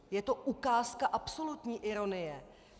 Je to ukázka absolutní ironie.